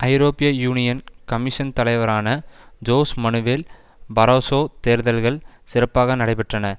ஐரோப்பிய union commission தலைவரான Jose Manuel Barroso தேர்தல்கள் சிறப்பாக நடைபெற்றன